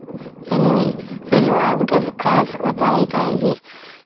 ସେଇନୁସେଇନୁ ଆଉ ଗୁଟେ ଖାସ କଥା ଏହି ଟା ଏହି ଯେ